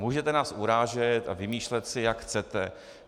Můžete nás urážet a vymýšlet si, jak chcete.